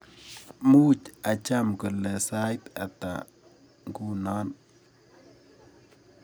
Muuch acham kole sait ata nguno